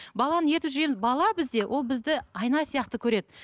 баланы ертіп жүреміз бала бізде ол бізді айна сияқты көреді